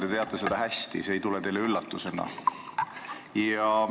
Te teate seda hästi, see ei tule teile üllatusena.